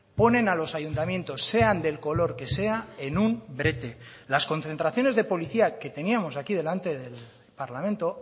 ponen a los ayuntamientos sean del color que sea en un brete las concentraciones de policía que teníamos aquí delante del parlamento